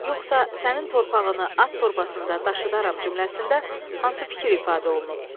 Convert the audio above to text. Yoxsa sənin torpağını at torbasında daşıdıram cümləsində hansı fikir ifadə olunub?